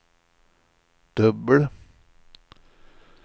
dubbel